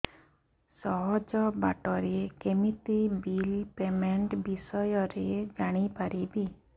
ସହଜ ବାଟ ରେ କେମିତି ବିଲ୍ ପେମେଣ୍ଟ ବିଷୟ ରେ ଜାଣି ପାରିବି